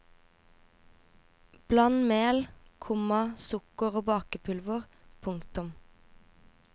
Bland mel, komma sukker og bakepulver. punktum